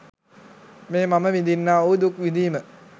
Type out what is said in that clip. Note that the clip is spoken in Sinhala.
මේ මම විඳින්නා වූ දුක් විඳීම